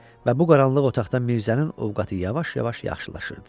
Və bu qaranlıq otaqda Mirzənin ovqatı yavaş-yavaş yaxşılaşırdı.